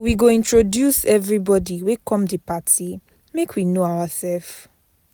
We go introduce everybodi wey come di party make we know oursef.